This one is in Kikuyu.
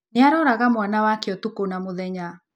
Nĩ aaroraga mwana wake ũtukũ na mũthenya